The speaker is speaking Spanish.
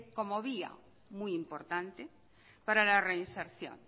como vía muy importante para la reinserción